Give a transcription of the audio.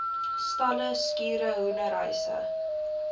stalle skure hoenderhuise